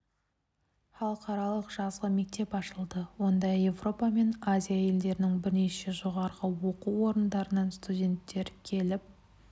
халықаралық жазғы мектеп ашылды онда еуропа мен азия елдерінің бірнеше жоғарғы оқу орындарынан студенттер келіп